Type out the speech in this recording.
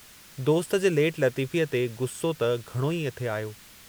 दोस्त जे लेट लतीफ़ीअ ते ग़ुस्सो त घणो ई थे आयो।